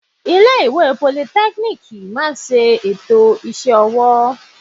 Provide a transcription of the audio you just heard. Ilé ìwé politẹ́kíníìkì máa ń ṣe ètò iṣẹ́ ọwọ́.